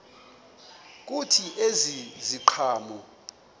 kuthi ezi ziqhamo